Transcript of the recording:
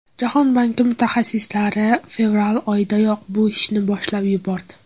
Jahon banki mutaxassislari fevral oyidayoq bu ishni boshlab yubordi.